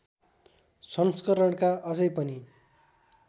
संस्करणका अझै पनि